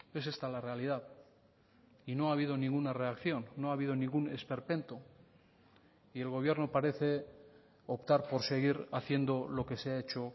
es esta la realidad y no ha habido ninguna reacción no ha habido ningún esperpento y el gobierno parece optar por seguir haciendo lo que se ha hecho